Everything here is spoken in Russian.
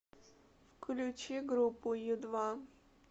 включи группу ю два